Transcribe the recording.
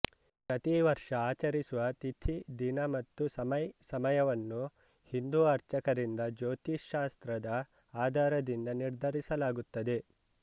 ಪ್ರತೀ ವರ್ಷ ಆಚರಿಸುವ ತಿಥಿ ದಿನ ಮತ್ತು ಸಮಯ್ ಸಮಯವನ್ನು ಹಿಂದು ಅರ್ಚಕರಿಂದ ಜ್ಯೋತಿಶಾಸ್ತ್ರದ ಆಧಾರದಿಂದ ನಿರ್ಧರಿಸಲಾಗುತ್ತದೆ